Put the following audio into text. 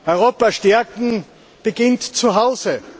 Europa stärken beginnt zuhause.